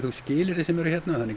skilyrði sem eru hérna